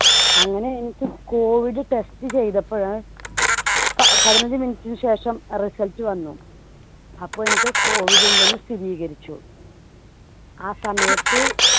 അങ്ങനെ എനിക്ക് COVID test ചെയ്തപ്പഴേ പതിനഞ്ച് minute നു ശേഷം result വന്നു. അപ്പോ എനിക്ക് COVID ഉണ്ടെന്ന് സ്ഥിരീകരിച്ചു. ആ സമയത്ത്